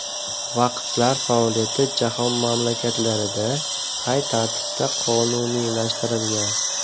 Vaqflar faoliyati jahon mamlakatlarida qay tartibda qonuniylashtirilgan?